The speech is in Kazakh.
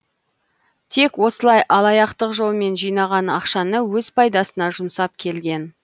тек осылай алаяқтық жолмен жинаған ақшаны өз пайдасына жұмсап келген